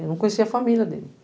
Eu não conhecia a família dele.